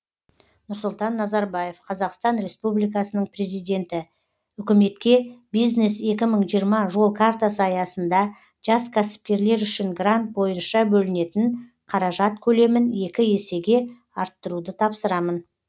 нұрсұлтан назарбаев қазақстан республикасының президенті үкіметке бизнес екі мың жиырма жол картасы аясында жас кәсіпкерлер үшін грант бойынша бөлінетін қаражат көлемін екі есеге арттыруды тапсырамын